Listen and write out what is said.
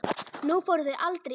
Nú fóru þau aldrei í